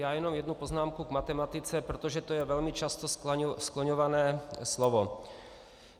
Já jenom jednu poznámku k matematice, protože to je velmi často skloňované slovo.